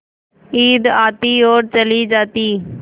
ईद आती और चली जाती